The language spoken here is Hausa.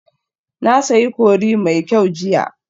Na sayi curry mai kyau jiya